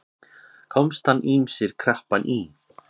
Komast hann ýmsir krappan í.